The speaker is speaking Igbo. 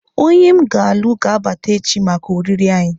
Onye m ga-alụ ga-abata echi maka oriri anyị.